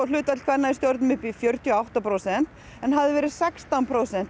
hlutfall kvenna í stjórnum fjörutíu og átta prósent en hafði verið sextán prósent